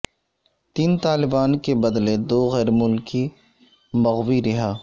تین طالبان کے بدلے دو غیر ملکی مغوی رہا